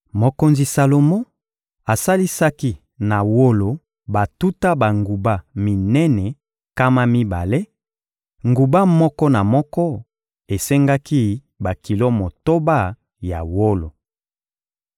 Mokonzi Salomo asalisaki na wolo batuta banguba minene nkama mibale; nguba moko na moko esengaki bakilo motoba ya wolo.